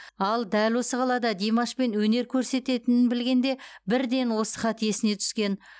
ал дәл осы қалада димашпен өнер көрсететінін білгенде бірден осы хат есіне түскен